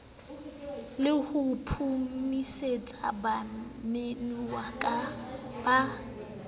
le ho phomosetsa bamemuwa ba